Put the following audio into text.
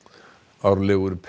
árlegur